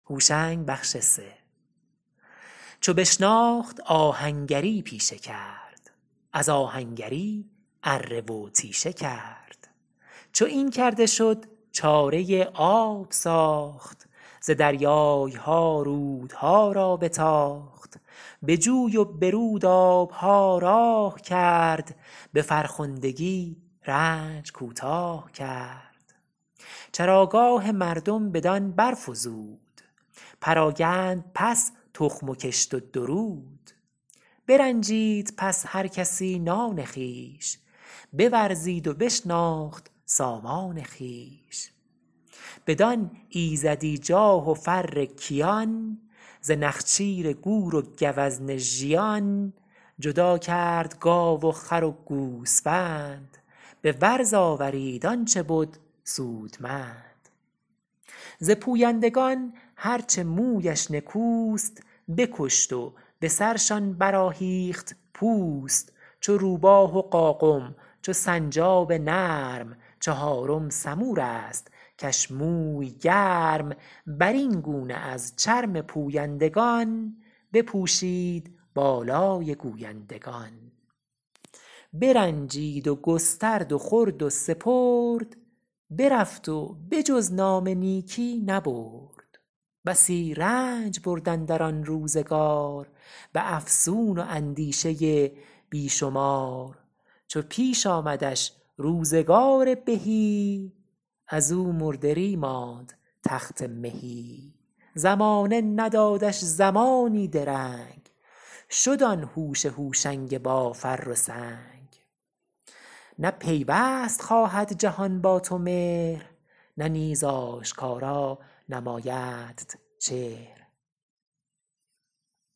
چو بشناخت آهنگری پیشه کرد از آهنگری اره و تیشه کرد چو این کرده شد چاره آب ساخت ز دریای ها رودها را بتاخت به جوی و به رود آب ها راه کرد به فرخندگی رنج کوتاه کرد چراگاه مردم بدان برفزود پراگند پس تخم و کشت و درود برنجید پس هر کسی نان خویش بورزید و بشناخت سامان خویش بدان ایزدی جاه و فر کیان ز نخچیر گور و گوزن ژیان جدا کرد گاو و خر و گوسفند به ورز آورید آن چه بد سودمند ز پویندگان هر چه مویش نکوست بکشت و به سرشان برآهیخت پوست چو روباه و قاقم چو سنجاب نرم چهارم سمور است کش موی گرم بر این گونه از چرم پویندگان بپوشید بالای گویندگان برنجید و گسترد و خورد و سپرد برفت و به جز نام نیکی نبرد بسی رنج برد اندر آن روزگار به افسون و اندیشه بی شمار چو پیش آمدش روزگار بهی از او مردری ماند تخت مهی زمانه ندادش زمانی درنگ شد آن هوش هوشنگ با فر و سنگ نه پیوست خواهد جهان با تو مهر نه نیز آشکارا نمایدت چهر